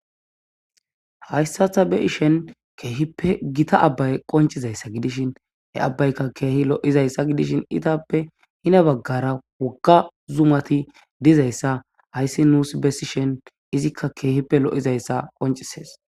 hayssatha be ishen keehippe gita abbay qoncizayssa gidishin e abbaykka keehi lo7izayssa gidishin itappe hina baggara wogga zumati dizayssa hayssi nuus bessi shen izikka keehippe lo7izayssa qoncises